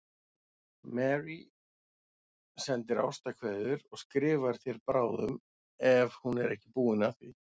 Marie sendir ástarkveðjur og skrifar þér bráðum ef hún er ekki búin að því.